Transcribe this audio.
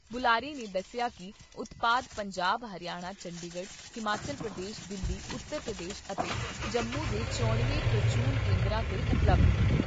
ਬੁਲਾਰੇ ਨੇ ਦੱਸਿਆ ਕਿ ਉਤਪਾਦ ਪੰਜਾਬ, ਹਰਿਆਣਾ, ਚੰਡੀਗੜ੍ਹ, ਹਿਮਾਚਲ ਪ੍ਰਦੇਸ਼, ਦਿੱਲੀ, ਉਤਰ ਪ੍ਰਦੇਸ਼ ਅਤੇ ਜੰਮੂ ਦੇ ਚੋਣਵੇਂ ਪ੍ਰਚੂਨ ਕੇਂਦਰਾਂ 'ਤੇ ਉਪਲਬਧ ਨੇ।